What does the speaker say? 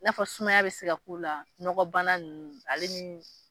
N'a fɔ sumaya be se ka k'o la nɔgɔbana nunnu ale ni